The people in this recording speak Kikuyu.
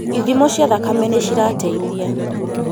Ithimo cia thakame nĩcirateithia